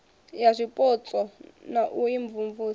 ya zwipotso na u imvumvusa